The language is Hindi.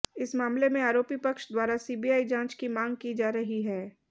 इस मामले में आरोपी पक्ष द्वारा सीबीआई जांच की मांग की जा रही है